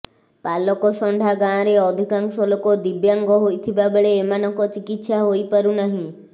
ପାଲକଷଣ୍ଢା ଗାଁରେ ଅଧିକାଂଶ ଲୋକ ଦିବ୍ୟାଙ୍ଗ ହୋଇଥିବାବେଳେ ଏମାନଙ୍କ ଚିକିତ୍ସା ହୋଇପାରୁନାହିଁ